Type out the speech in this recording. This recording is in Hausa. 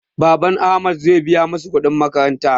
Baban su ahmad zai biya masu kuɗin makaranta